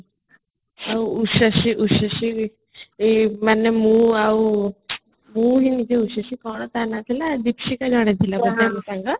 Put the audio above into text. ଆଉ usesiଏଇ ମାନେ ମୁଁ ଆଉ ମୁଁ ହହିଁ ନିଜେ uses କ'ଣ ତା ନା ଥିଲା ଦିପସିତା ଜଣେ ଥିଲା ସାଙ୍ଗ